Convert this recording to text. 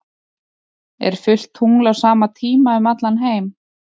er fullt tungl á sama tíma um allan heim